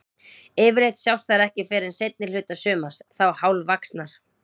Yfirleitt sjást þær ekki fyrr en seinni hluta sumars, þá hálfvaxnar.